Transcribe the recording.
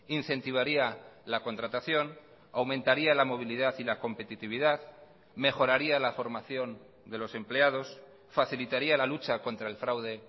incentivaría la contratación aumentaría la movilidad y la competitividad mejoraría la formación de los empleados facilitaría la lucha contra el fraude